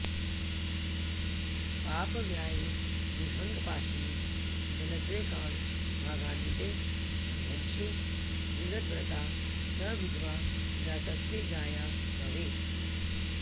पापव्यालविहङ्गपाशनिगलद्रेक्काणभागान्विते सन्ध्यंशे विगतब्रता च विधवा जातस्य जाया भवेत्